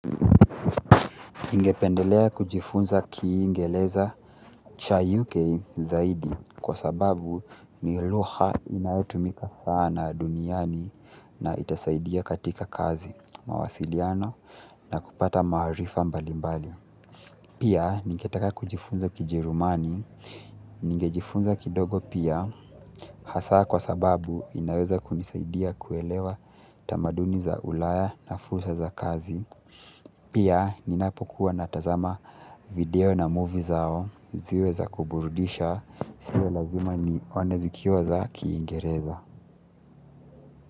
Ningependelea kujifunza kingereza cha UK zaidi kwa sababu ni lugha inayotumika sana duniani na itasaidia katika kazi mawasiliano na kupata maarifa mbali mbali pia, ningetaka kujifunza kijerumani, ningejifunza kidogo pia hasa kwa sababu inaweza kunisaidia kuelewa tamaduni za ulaya na fursa za kazi. Pia ninapokuwa natazama video na movie zao ziwe za kuburudisha sio lazima ni one zikiwa kiingereza.